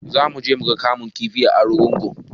Zamu je muga kamun kifi a argungu